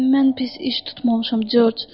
Mən pis iş tutmamışam, George.